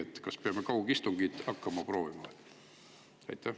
Kas siis peame kaugistungeid hakkama proovima?